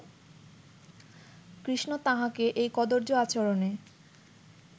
কৃষ্ণ তাঁহাকে এই কদর্য আচরণে